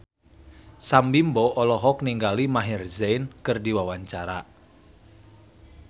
Sam Bimbo olohok ningali Maher Zein keur diwawancara